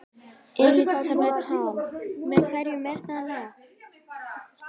Elísabet Hall: Með hverjum er það lag?